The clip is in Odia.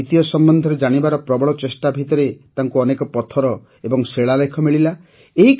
ନିଜ ଐତିହ୍ୟ ସମ୍ବନ୍ଧରେ ଜାଣିବାର ପ୍ରବଳ ଚେଷ୍ଟା ଭିତରେ ତାଙ୍କୁ ଅନେକ ପଥର ଏବଂ ଶିଳାଲେଖ ମିଳିଲା